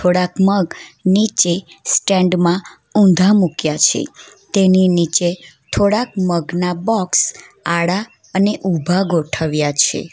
થોડાક મગ નીચે સ્ટેન્ડ માં ઊંધા મુક્યા છે તેની નીચે થોડાક મગ ના બોક્સ આડા અને ઉભા ગોઠવ્યા છે.